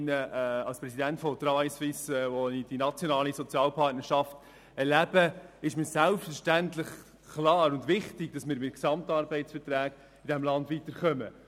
Als Präsident von «Travail Suisse», wo ich die nationale Sozialpartnerschaft erlebe, ist mir selbstverständlich klar und wichtig, dass wir über GAV in diesem Land weiterkommen.